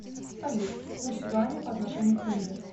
салют курс юаня по отношению к тенге